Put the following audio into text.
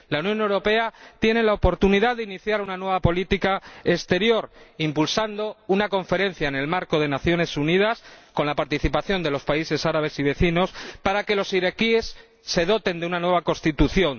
La Unión Europea tiene la oportunidad de iniciar una nueva política exterior, impulsando una conferencia en el marco de las Naciones Unidas, con la participación de los países árabes y vecinos, para que los iraquíes se doten de una nueva Constitución